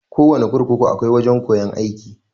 Kowana kurkuku akwai wajan koyan aiki.